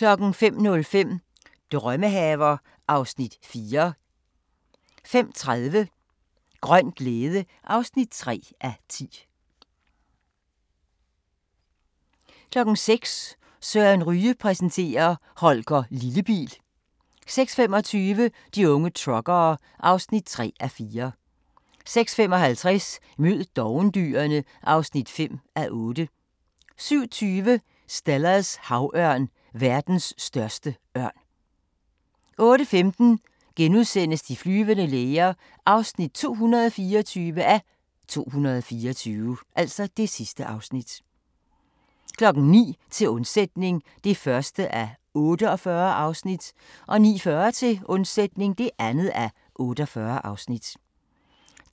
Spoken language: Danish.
05:05: Drømmehaver (Afs. 4) 05:30: Grøn glæde (3:10) 06:00: Søren Ryge præsenterer: Holger Lillebil 06:25: De unge truckere (3:4) 06:55: Mød dovendyrene (5:8) 07:20: Stellers havørn – verdens største ørn 08:15: De flyvende læger (224:224)* 09:00: Til undsætning (1:48) 09:40: Til undsætning (2:48)